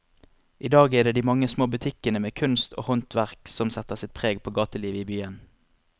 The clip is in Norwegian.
I dag er det de mange små butikkene med kunst og håndverk som setter sitt preg på gatelivet i byen.